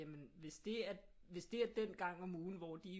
Jamen hvis det er den gang om ugen hvor de